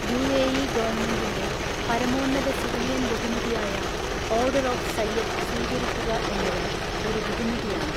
UAE ഗവണ്മെൻറ്റിൻ്റെ പരമോന്നത civilian ബഹുമതിയായ 'ഓർഡർ ഓഫ് സയ്യദ്' സ്വീകരിക്കുക എന്നത് ഒരു ബഹുമതിയാണ്.